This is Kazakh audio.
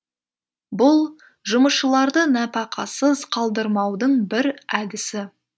бұл жұмысшыларды нәпақасыз қалдырмаудың бір әдісі